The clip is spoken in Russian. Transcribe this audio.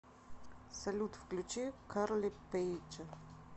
салют включи карли пэйдж